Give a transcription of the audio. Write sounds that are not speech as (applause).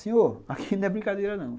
Senhor, aqui (laughs) não é brincadeira não.